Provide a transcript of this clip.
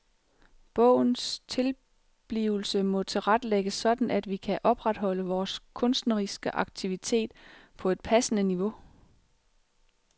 Bogens tilblivelse må tilrettelægges sådan at vi kan opretholde vores kunstneriske aktivitet på et passende niveau.